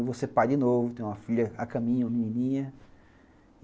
Eu vou ser pai de novo, tenho uma filha a caminho, uma menininha.